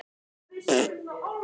Tara, hvenær kemur leið númer sjö?